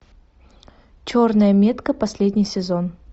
черная метка последний сезон